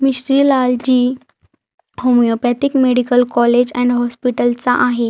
मिश्रीलालजी homeopathic medical college and हॉस्पिटलचा आहे.